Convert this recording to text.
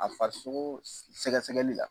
A farisogo sɛgɛsɛgɛli